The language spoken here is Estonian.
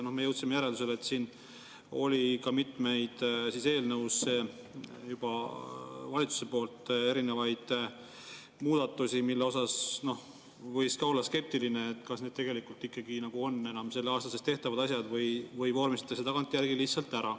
Ja me jõudsime järeldusele, et siin oli mitmeid eelnõusse juba valitsuse poolt erinevaid muudatusi, mille puhul võis ka olla skeptiline, kas need tegelikult on enam selle aasta sees tehtavad asjad või vormistatakse tagantjärgi lihtsalt ära.